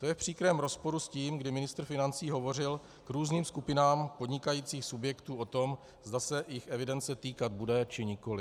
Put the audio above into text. To je v příkrém rozporu s tím, kdy ministr financí hovořil k různým skupinám podnikajících subjektů o tom, zda se jich evidence týkat bude, či nikoli.